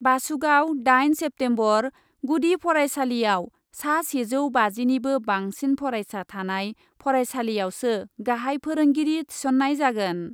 बासुगाव, दाइन सेप्तेम्बर, गुदि फरायसालियाव सा सेजौ बाजिनिबो बांसिन फरायसा थानाय फरायसालियावसो गाहाइ फोरोंगिरि थिसन्नाय जागोन।